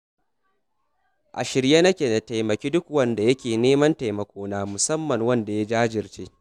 A shirye nake na taimaki duk wanda yake neman taimakona, musamman ma wanda ya jajirce